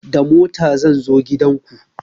Da mota zan zo gidan ku